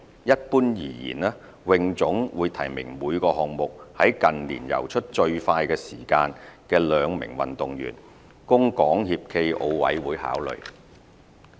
一般而言，泳總會提名每個項目在近年游出最快時間的兩名運動員，供港協暨奧委會考慮。